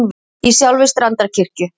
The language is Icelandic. Í sjálfri Strandarkirkju.